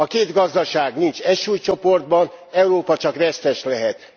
A két gazdaság nincs egy súlycsoportban, Európa csak vesztes lehet.